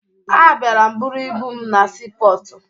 Abịara m buru ibu m na siipọọtụ